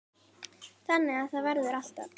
Þannig að það verður alltaf.